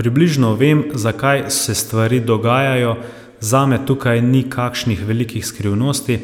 Približno vem, zakaj se stvari dogajajo, zame tukaj ni kakšnih velikih skrivnosti,